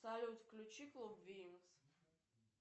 салют включи клуб винкс